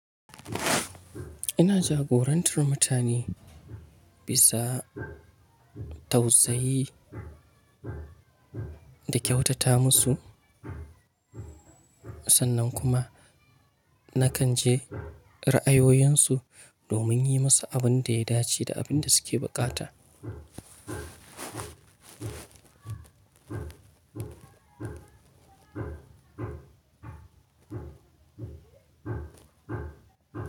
Ina jagorantar mutane bisa tausayi da kyautata musu sannan kuma na kan ji ra'ayoyin su domin yi musu abun da ya dace da abin da suke buƙata.